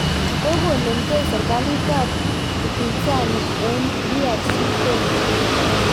Kokonomkei serkalit ak upinsani eng DR Congo